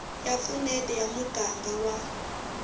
ya vupfuneti ya muganga wa